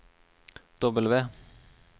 W